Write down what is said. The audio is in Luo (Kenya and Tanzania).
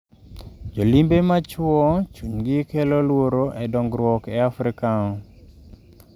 Jolimbe ma chiwo chunygi kelo luoro e dongruok e Afrika